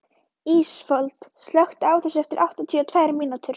Ísafold, slökktu á þessu eftir áttatíu og tvær mínútur.